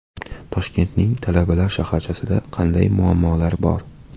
Toshkentning talabalar shaharchasida qanday muammolar bor?.